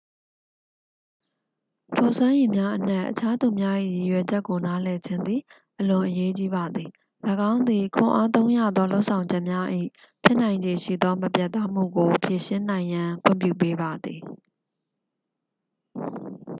ထိုစွမ်းရည်များအနက် အခြားသူများ၏ရည်ရွယ်ချက်ကိုနားလည်ခြင်းသည် အလွန်အရေးကြီးပါသည် ၎င်းသည် ခွန်အားသုံးရသော လုပ်ဆောင်ချက်များ၏ ဖြစ်နိုင်ခြေရှိသော မပြတ်သားမှုကို ဖြေရှင်းနိုင်ရန် ခွင့်ပြုပေးပါသည်